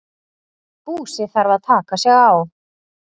Búsi þarf að taka sig á.